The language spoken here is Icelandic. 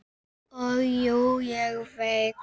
Og jú, ég veit.